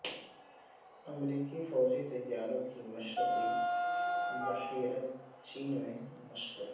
امریکی فوجی طیاروں کی مشرقی بحیرہ چین میں مشقیں